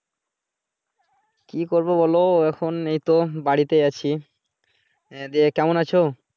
কি করবো বলো এখন এইতো হম বাড়ীতে আছি । এহ কেমন আছো?